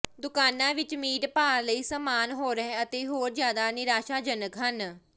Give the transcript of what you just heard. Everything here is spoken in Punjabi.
ਦੁਕਾਨਾ ਵਿੱਚ ਮੀਟ ਭਾਅ ਲਈ ਸਾਮਾਨ ਹੋਰ ਅਤੇ ਹੋਰ ਜਿਆਦਾ ਨਿਰਾਸ਼ਾਜਨਕ ਹਨ